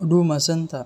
Huduma Centre